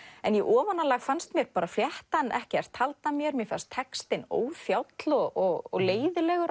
en í ofanálag fannst mér fléttan ekkert halda mér mér fannst textinn óþjáll og leiðinlegur